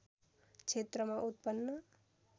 क्षेत्रमा उत्पन्न